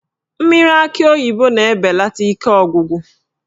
Mmiri akị oyibo na-ebelata ike ọgwụgwụ